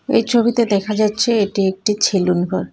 এই ছবিতে দেখা যাচ্ছে এটি একটি ছেলুন ঘর .